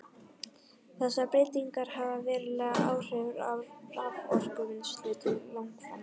Þessar breytingar hafa veruleg áhrif á raforkuvinnslu til langframa.